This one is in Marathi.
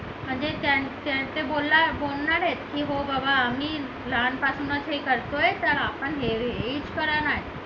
म्हणजे त्यांचे बोलणार आहेत की हो बाबा आम्ही लहानपणी लहानपासून हे करतोय तर आपण